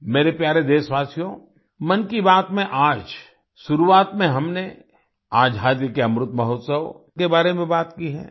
मेरे प्यारे देशवासियो मन की बात में आज शुरुआत में हमने आजादी के अमृत महोत्सव के बारे में बात की है